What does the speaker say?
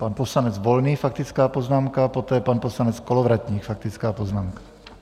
Pan poslanec Volný faktická poznámka, poté pan poslanec Kolovratník, faktická poznámka.